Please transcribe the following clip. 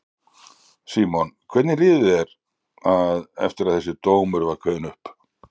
Símon: Hvernig líður þér að, eftir að þessi dómur var kveðinn upp?